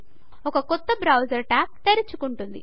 ఒక కొత్త browser tab తెరుచుకుంటుంది